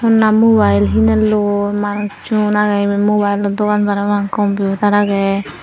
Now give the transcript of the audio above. honna mobile hinelloi manus honna agey eben mobileo dogan parapang computer aagey.